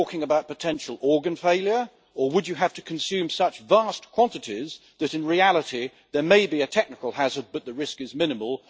Are we talking about potential organ failure or would you have to consume such vast quantities that, in reality, there may be a technical hazard but the risk is minimal?